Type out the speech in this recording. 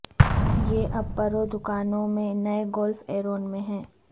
یہ اب پرو دکانوں میں نئے گولف ایرون ہیں